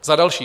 Za další.